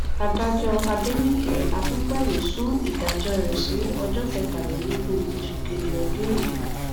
adájọ adẹnìke akínpẹlú sún ìdájọ rẹ sí ọjọ kẹtàlélógún oṣù kejì ọdún yìí